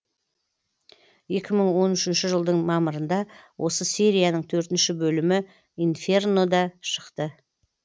екі мың он үшінші жылдың мамырында осы серияның төртінші бөлімі инферно да шықты